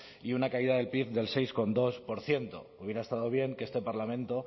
y una caída del pib del seis coma dos por ciento hubiera estado bien que este parlamento